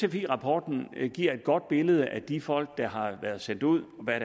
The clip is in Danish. sfi rapporten giver et godt billede af de folk der har været sendt ud og hvad